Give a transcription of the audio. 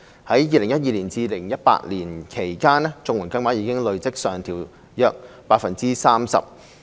在2012年至2018年間，綜援金額已累積上調約 30%。